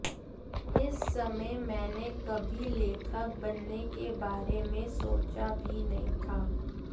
इस समय मैंने कभी लेखक बनने के बारे में सोचा भी नहीं था